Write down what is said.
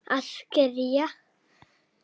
Að kyrja.